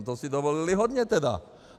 No to si dovolili hodně tedy!